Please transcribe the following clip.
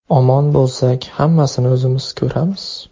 Omon bo‘lsak, hammasini o‘zimiz ko‘ramiz...